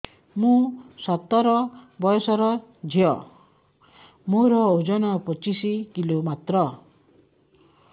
ମୁଁ ସତର ବୟସର ଝିଅ ମୋର ଓଜନ ପଚିଶି କିଲୋ ମାତ୍ର